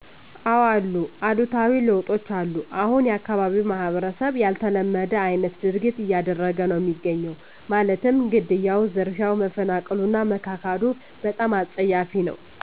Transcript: እዎ ብዙ እሉታዊ ለውጦች አሉ እሁን የአካባቢው ማህበረሰብ ያልተለመደ አይነት ድርጊት እያደረገ ነው እሚገኘው ማለትም ግድያው፣ ዝርፊያው፣ መፈናቀሉ እና መካካዱ በጣም አፀያፊ ነው።